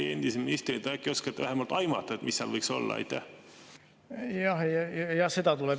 Teie endise ministrina äkki oskate vähemalt aimata, mis seal võiks olla?